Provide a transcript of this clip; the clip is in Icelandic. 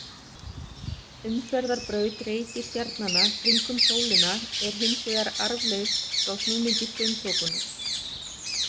Umferðarbraut reikistjarnanna kringum sólina er hins vegar arfleifð frá snúningi frumþokunnar.